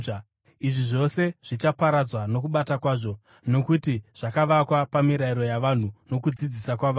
Izvi zvose zvichaparadzwa nokubata kwazvo, nokuti zvakavakwa pamirayiro yavanhu nokudzidzisa kwavanhu.